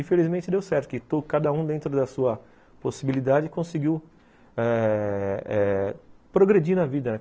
Infelizmente deu certo, que cada um dentro da sua possibilidade conseguiu ãh progredir na vida, né?